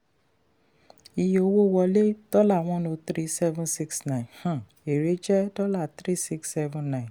iye owó wọlé dollar one zero three seven six nine um èrè jẹ́ three six seven nine.